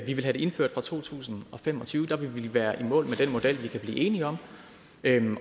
vi vil have det indført fra to tusind og fem og tyve der vil vi være i mål med den model vi kan blive enige om